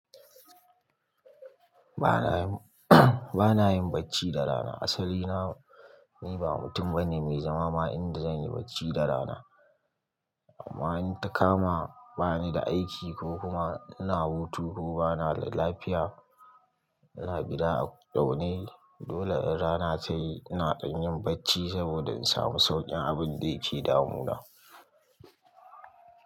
Ba na yin ba na yin bacci da rana. Asali na, ni ba mutum bane mai zama ma inda zan yi bacci da rana. Amma in ta kama ba ni da aiki ko kuma ina hutu ko bana da lafiya, ina gida a zaune. Dole in rana ta yi, ina dan yin bacci saboda in samu sauƙin abin da yake damuna.